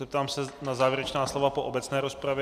Zeptám se na závěrečná slova po obecné rozpravě.